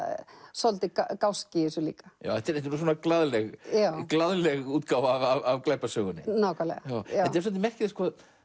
svolítill gáski í þessu líka þetta er glaðleg glaðleg útgáfa af glæpasögunni nákvæmlega þetta er svolítið merkilegt